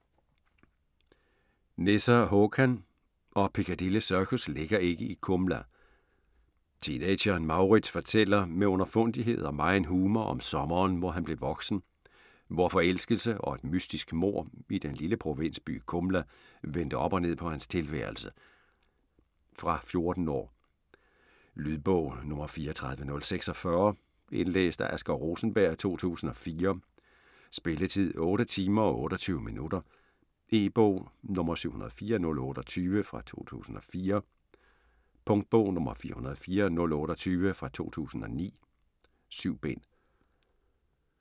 Nesser, Håkan: Og Piccadilly Circus ligger ikke i Kumla Teenageren Mauritz fortæller med underfundighed og megen humor om sommeren hvor han blev voksen, hvor forelskelse og et mystisk mord i den lille provinsby Kumla vendte op og ned på hans tilværelse. Fra 14 år. Lydbog 34046 Indlæst af Asger Rosenberg, 2004. Spilletid: 8 timer, 28 minutter. E-bog 704028 2004. Punktbog 404028 2009. 7 bind.